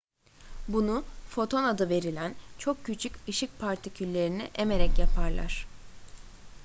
bunu foton adı verilen çok küçük ışık partiküllerini emerek yaparlar